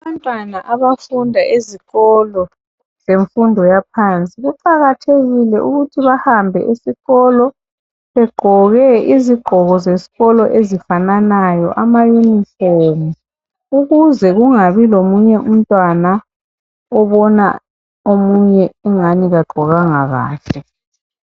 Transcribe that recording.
Abantwana abafunda ezikolo zemfundo yaphansi kuqakathekile ukuthi bahambe esikolo begqoke izigqoko zeskolo ezifananayo ama uniform ukuze kungabi komunye umtwana obona omunye ingani kagqokanga kahle